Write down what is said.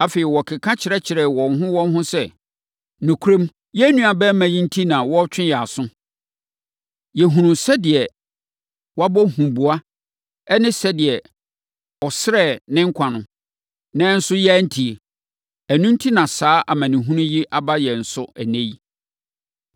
Afei, wɔkeka kyerɛkyerɛɛ wɔn ho wɔn ho sɛ, “Nokorɛm, yɛn nuabarima yi enti na wɔretwe yɛn aso. Yɛhunuu sɛdeɛ wabɔ huboa ne sɛdeɛ ɔsrɛɛ ne nkwa no, nanso yɛantie. Ɛno enti na saa amanehunu yi a aba yɛn so ɛnnɛ yi.”